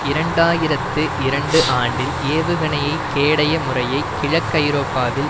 இரண்டாயிரத்தி இரண்டு ஆண்டில் ஏவுகணைக் கேடய முறையை கிழக்கு ஐரோப்பாவில்